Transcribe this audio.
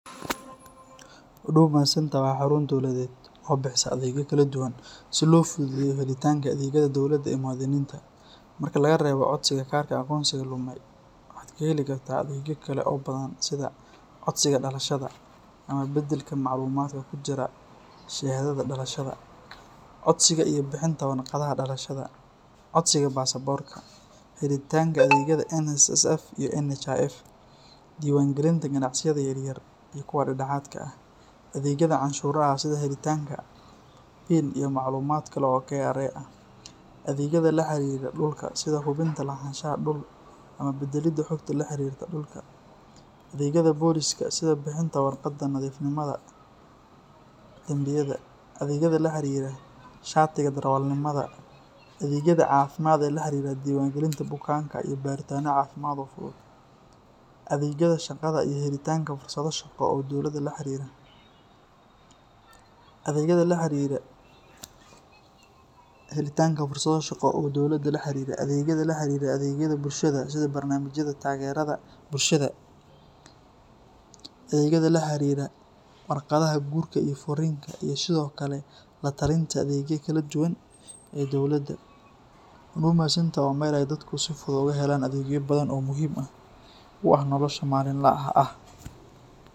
Huduma Centre waa xarun dowladeed oo bixisa adeegyo kala duwan si loo fududeeyo helitaanka adeegyada dawladda ee muwaadiniinta. Marka laga reebo codsiga kaarka aqoonsiga lumay, waxaad ka heli kartaa adeegyo kale oo badan sida codsiga dhalashada ama beddelka macluumaadka ku jira shahaadada dhalashada, codsiga iyo bixinta warqadaha dhalashada, codsiga baasaboorka, helitaanka adeegyada NSSF iyo NHIF, diiwaangelinta ganacsiyada yaryar iyo kuwa dhexdhexaadka ah, adeegyada canshuuraha sida helitaanka PIN iyo macluumaad kale oo KRA ah, adeegyada la xiriira dhulka sida hubinta lahaanshaha dhul ama beddelidda xogta la xiriirta dhulka, adeegyada booliska sida bixinta warqadda nadiifnimada dambiyada, adeegyada la xiriira shatiga darawalnimada, adeegyada caafimaadka ee la xiriira diiwaangelinta bukaanka iyo baaritaano caafimaad oo fudud, adeegyada shaqada iyo helitaanka fursado shaqo oo dowladda la xiriira, adeegyada la xiriira adeegyada bulshada sida barnaamijyada taageerada bulshada, adeegyada la xiriira warqadaha guurka iyo furriinka, iyo sidoo kale la-talinta adeegyada kala duwan ee dowladda. Huduma Centre waa meel ay dadku si fudud uga helaan adeegyo badan oo muhiim u ah noloshooda maalinlaha ah.